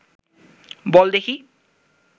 বল দেখি